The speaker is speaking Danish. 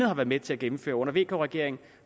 har været med til at gennemføre under vk regeringen